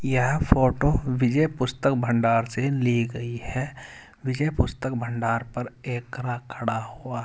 यह फोटो विजय पुस्तक भंडार से ली गई है विजय पुस्तक भंडार पर एक ग्राहक खड़ा हुआ है।